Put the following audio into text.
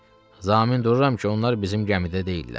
Zamin dururam ki, onlar bizim gəmidə deyillər.